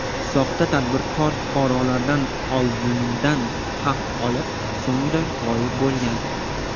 Soxta tadbirkor fuqarolardan oldindan haq olib, so‘ngra g‘oyib bo‘lgan.